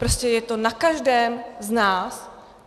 Prostě je to na každém z nás.